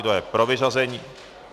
Kdo je pro vyřazení...?